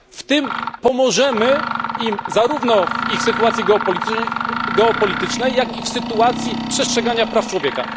Tym pomożemy im zarówno w ich sytuacji geopolitycznej, jak i w sytuacji przestrzegania praw człowieka.